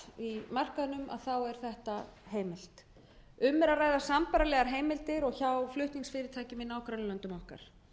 í möskvanum þá er þetta heimilt um er að ræða sambærilegar heimildir og hjá flutningsfyrirtækjum í nágrannalöndum okkar